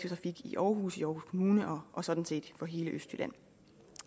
trafik i aarhus i aarhus kommune og sådan set i hele østjylland